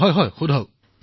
প্ৰধানমন্ত্ৰীঃ হয়হয়কওক